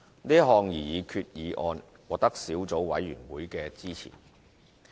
是項擬議決議案獲得小組委員會支持。